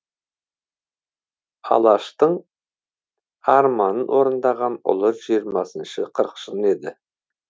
алаштың арманын орындаған ұлы жиырмасыншы қырқшын еді